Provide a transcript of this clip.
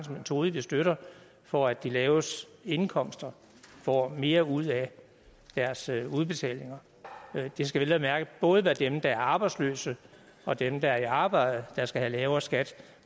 metode vi støtter for at de laveste indkomster får mere ud af deres udbetalinger det skal vel at mærke både være dem der er arbejdsløse og dem der er i arbejde der skal have lavere skat